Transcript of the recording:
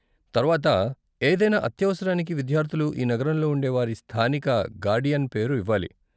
తర్వాత, ఏదైనా అత్యవసరానికి విద్యార్ధులు ఈ నగరంలో ఉండే వారి స్థానిక గార్డియన్ పేరు ఇవ్వాలి.